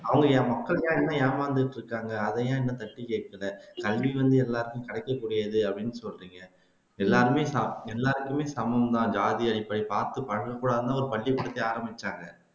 அவங்க என் மக்கள்தான் இன்னும் ஏமாந்துகிட்டு இருக்காங்க அதையே இன்னும் தட்டி கேக்கல கல்வி வந்து எல்லாருக்கும் கிடைக்கக்கூடியது அப்படின்னு சொல்றீங்க எல்லாருமே டாப் எல்லாருக்குமே சமம்தான் ஜாதி அடிப்படை பார்த்து பழகக்கூடாதுன்னு ஒரு த்தையே ஆரம்பிச்சாங்க